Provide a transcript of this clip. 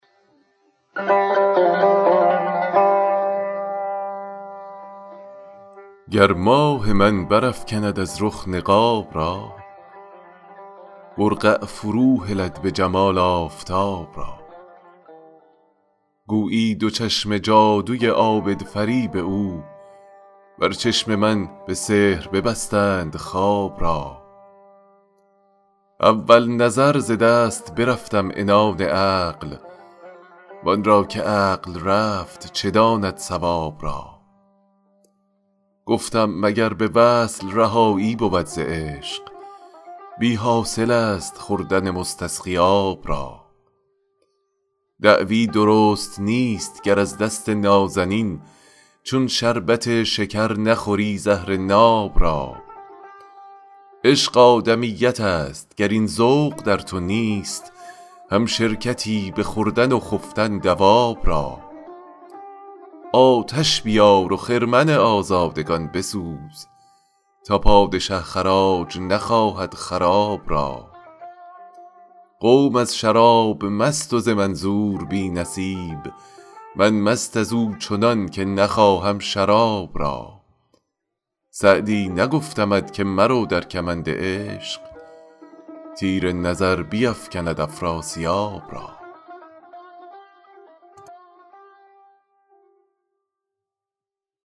گر ماه من برافکند از رخ نقاب را برقع فروهلد به جمال آفتاب را گویی دو چشم جادوی عابدفریب او بر چشم من به سحر ببستند خواب را اول نظر ز دست برفتم عنان عقل وان را که عقل رفت چه داند صواب را گفتم مگر به وصل رهایی بود ز عشق بی حاصل است خوردن مستسقی آب را دعوی درست نیست گر از دست نازنین چون شربت شکر نخوری زهر ناب را عشق آدمیت است گر این ذوق در تو نیست همشرکتی به خوردن و خفتن دواب را آتش بیار و خرمن آزادگان بسوز تا پادشه خراج نخواهد خراب را قوم از شراب مست و ز منظور بی نصیب من مست از او چنان که نخواهم شراب را سعدی نگفتمت که مرو در کمند عشق تیر نظر بیفکند افراسیاب را